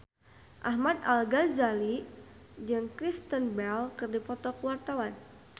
Ahmad Al-Ghazali jeung Kristen Bell keur dipoto ku wartawan